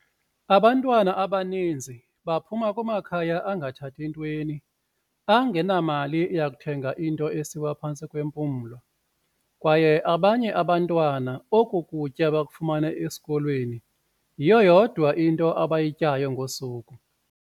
"Abantwana abaninzi baphuma kumakhaya angathathi ntweni, angenamali yokuthenga into esiwa phantsi kwempumlo, kwaye abanye abantwana oku kutya bakufumana esikolweni, yiyo yodwa abayityayo ngosuku."